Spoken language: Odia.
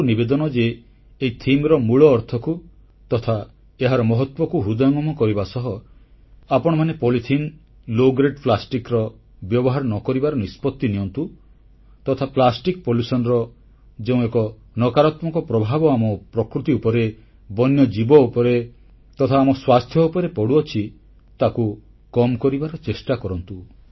ମୋର ଆପଣ ସମସ୍ତଙ୍କୁ ନିବେଦନ ଯେ ଏହି ପ୍ରସଙ୍ଗର ମୂଳ ଅର୍ଥକୁ ତଥା ଏହାର ମହତ୍ୱକୁ ହୃଦୟଙ୍ଗମ କରିବା ସହ ଆପଣମାନେ ପଲିଥିନ ନିମ୍ନମାନର ପ୍ଲାଷ୍ଟିକ ବ୍ୟବହାର ନ କରିବା ଲାଗି ନିଷ୍ପତ୍ତି ନିଅନ୍ତୁ ତଥା ପ୍ଲାଷ୍ଟିକ ପ୍ରଦୂଷଣର ଯେଉଁ ଏକ ନକାରାତ୍ମକ ପ୍ରଭାବ ଆମ ପ୍ରକୃତି ଉପରେ ବନ୍ୟଜୀବ ଉପରେ ତଥା ଆମ ସ୍ୱାସ୍ଥ୍ୟ ଉପରେ ପଡ଼ୁଛି ତାକୁ କମ୍ କରିବାର ଚେଷ୍ଟା କରନ୍ତୁ